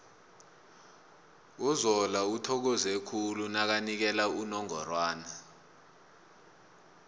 uzola uthokoze khulu nakanikela unongorwana